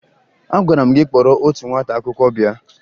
Agwara m gị kpọrọ otu nwata akwụkwọ bịa!